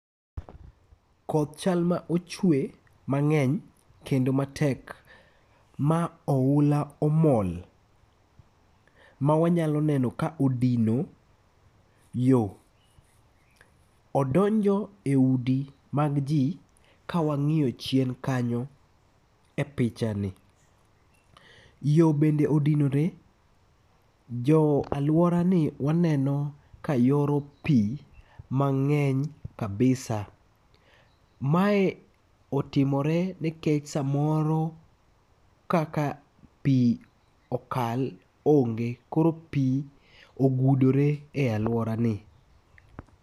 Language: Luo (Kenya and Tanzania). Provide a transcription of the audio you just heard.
Koth chal ma ochwe mang'eny kendo matek ma ohula omol. Mawanyalo neno ka odino yo. Odonjo e udi mag ji kawang'iyo chien kanyo e pichani. Yo bende odinore. Jo alwora ni waneno ka yoro pi mang'eny kabisa. Mae otimore nikech samoro kaka pi okal onge. Koro pi ogudore e alwora ni.